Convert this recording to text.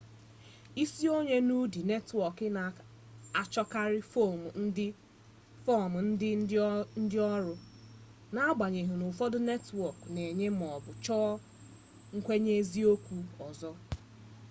isonye n'ụdị netwọọk na-achọkarị fọm nke ndịnọrụ na-agbanyeghị n'ụfọdụ netwọọk na-enye maọbụ chọọ nkwenyeeziokwu ọzọ